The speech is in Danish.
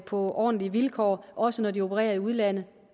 på ordentlige vilkår også når de opererer i udlandet